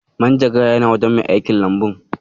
Manjagarar yana wajen mai aikin Lambun.